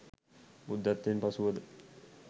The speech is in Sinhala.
බුද්ධත්වයෙන් පසුවද